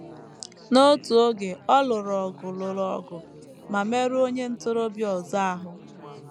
N’otu oge, ọ lụrụ ọgụ lụrụ ọgụ ma merụọ onye ntorobịa ọzọ ahụ.